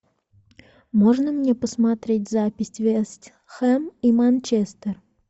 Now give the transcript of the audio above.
можно мне посмотреть запись вест хэм и манчестер